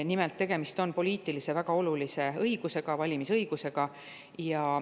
Nimelt, tegemist on väga olulise poliitilise õigusega, valimisõigusega.